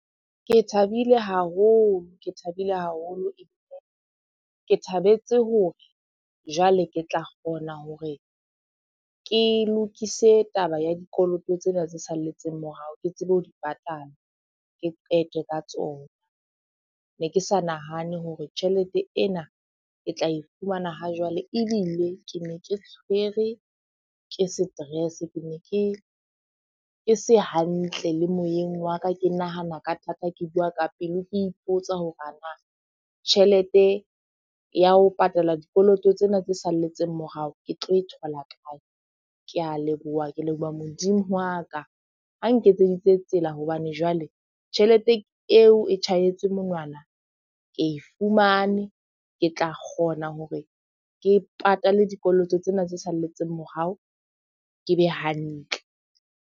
Ke thabile haholo ebile ke thabetse hore jwale ke tla kgona hore ke lokise taba ya dikoloto tsena tse salletseng morao. Ke tsebe ho di patala, ke qete ka tsona. Ne ke sa nahane hore tjhelete ena ke tla e fumana ha jwale. Ebile ke ne ke tshwere ke stress, ke ne ke, ke se hantle le moyeng wa ka. Ke nahana ka thata, ke bua ka pelo ke ipotsa hore ana tjhelete ya ho patala dikoloto tsena tse salletseng morao ke tlo e thola kae? Ke a leboha ke leboha Modimo wa ka. A nketseditse tsela hobane jwale tjhelete eo e tjhahetse monwana ke e fumane, ke tla kgona hore ke patale dikoloto tsena tse salletseng morao, ke be hantle.